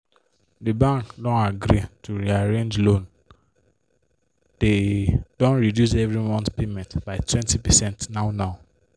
di bank don agree to re-arrange loan dey don reduce every month payment by 20 percent now now